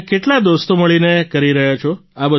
તમે કેટલા દોસ્તો મળીને કરી રહ્યા છો